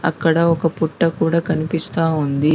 అక్కడ ఒక పుట్ట కూడా కనిపిస్తా ఉంది.